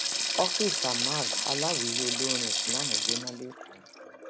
ọfíìsì amag aláwíyé olórin islam jóná lẹkọọ